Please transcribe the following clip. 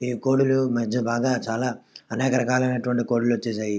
ఈ కోడిలు మధ్య బాగా అనేక రకాల కోడిలు వచ్చేసాయి.